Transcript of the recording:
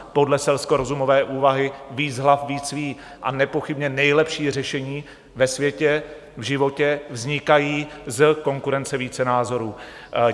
Podle selskorozumové úvahy víc hlav víc ví a nepochybně nejlepší řešení ve světě, v životě vznikají z konkurence více názorů.